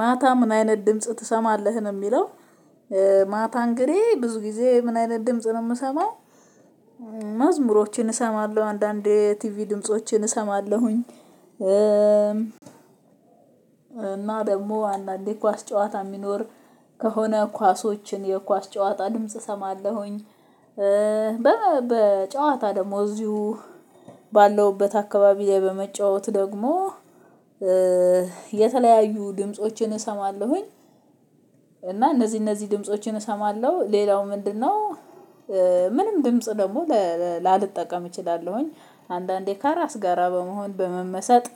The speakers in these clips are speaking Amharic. ማታ ምን አይነት ድምጽ ትሰማለህ ነው የሚለው? ማታ እንግዲህ ብዙ ጊዜ ምን አይነት ድምጽ ነው የምሰማው። መዝሙሮችን እሰማለሁ አንዳንድ የቲቪ ድምፆችን እሰማለሁኝ። እና ደግሞ አንዳንዴ ኳስ ጨዋታ የሚኖር ከሆነ ኳሶችን የኳስ ጨዋታ ድምጽ እሰማለሁኝ። በጨዋታ ደግሞ እዚሁ ባለውበት አካባቢ ላይ በመጫወት ደግሞ የተለያዩ ድምፆችን እሰማለሁኝ። እና እነዚህ እነዚህ ድምፆችን እሰማለሁ ሌላው ምንድነው? ምንም ድምጽ ደግሞ ላልጠቀም እችላለሁኝ አንዳንዴ ከራስ ጋር በመሆን በመመሰጥ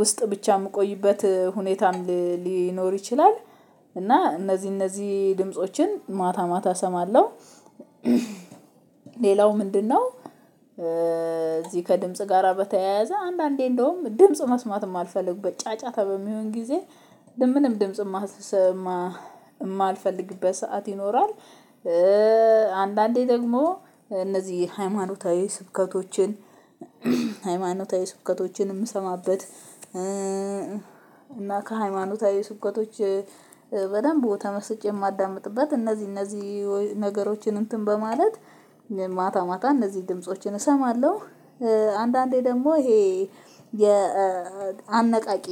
ውስጥ ብቻ የምቆይበት ሁኔታም ሊኖር ይችላል። እና እነዚህ እነዚህ ድምፆችን ማታ ማታ እሰማለሁ። ሌላው ምንድነው? እዚህ ከድምጽ ጋራ በተያያዘ አንዳንዴ እንደውም ድምጽ መስማትም የማፈልግበት ጫጫታ በሚሆን ጊዜ ምንም ድምጽ የማልፈልግበት ሰዓት ይኖራል። አንዳንዴ ደግሞ እነዚህ ሃይማኖታዊ ስብከቶችን ሃይማኖታዊ ስብከቶችን የምሰማበት እና ከሃይማኖታዊ ስብከቶች በደንብ ተመስጬ የማዳምጥበት እነዚህ እነዚህ ነገሮችን እንትን በማለት ማታ ማታ እነዚህ ድምፆችን እሰማለሁ። አንዳንዴ ደግሞ ይሄ የአነቃቂ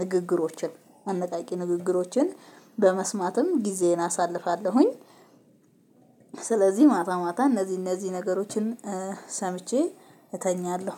ንግግሮችን አነቃቂ ንግግሮችን በመስማትም ጊዜዬን አሳልፋለሁኝ። ስለዚህ ማታ ማታ እነዚህ እነዚህ ነገሮችን ሰምቼ እተኛለሁ።